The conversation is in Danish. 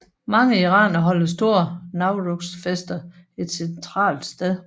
Mange iranere holder store Nowruz fester et centralt sted